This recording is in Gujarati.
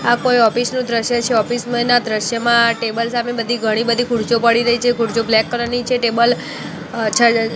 આ કોઈ ઓફિસ નું દ્રશ્ય છે ઓફિસ ના દ્રશ્યમાં ટેબલ સામે બધી ઘણી બધી ખુરશીઓ પડી રહી છે ખુરશીઓ બ્લેક કલર ની છે ટેબલ --